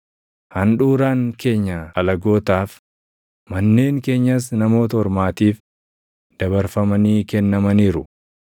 Handhuuraan keenya alagootaaf, manneen keenyas Namoota Ormaatiif // dabarfamanii kennamaniiru.